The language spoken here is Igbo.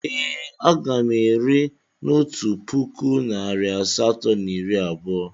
Ee, a ga m ere na otu puku naịra asatọ na iri abụọ.